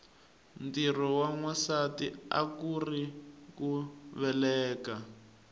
ntirho wa nwasati akuuri ku veleka